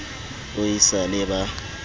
o e sa le ba